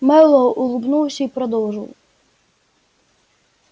мэллоу улыбнулся и продолжил